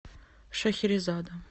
шахерезада